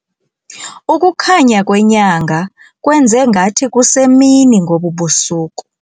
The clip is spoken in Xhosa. Ukukhanya kwenyanga kwenze ngathi kusemini ngobu busuku.